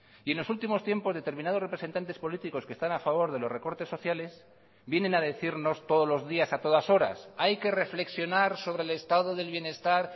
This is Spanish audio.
y en los últimos tiempos determinados representantes políticos que están a favor de los recortes sociales vienen a decirnos todos los días a todas horas hay que reflexionar sobre el estado del bienestar